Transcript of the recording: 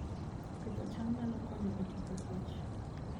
Pidho cham nyalo konyo e tieko kech